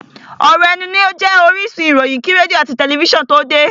ọ̀ rọ̀ ẹnu ní ó jẹ́ orísun ìròyìn kí rédíò àti tẹlifísàn tó de.